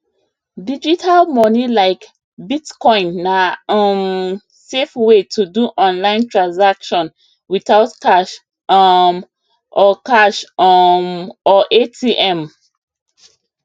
digital money like bitcoin na um safe way to do online transaction without cash um or cash um or atm